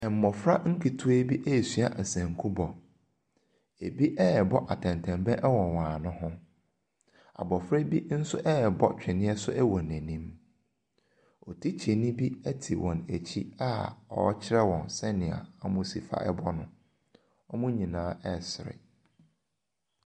Mmɔfra nketewa bi ɛresua nsanku bɔ. Ɛbi ɛrebɔ atɛntɛnbɛn wɔ wɔn ano ho. Abɔfra bi nso ɛrebɔ twene nso wɔ n’anim. Tikyani bi sno te wɔn akyi a ɔrekyerɛ wɔn sɛdeɛ wɔmmɔ no. Wɔn nyinaa ɛresere.